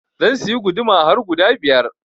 Zan siya guduma har guda biyar.